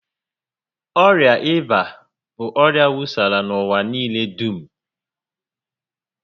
Ọrịa ịba bụ ọrịa wusara n'ụwa niile dum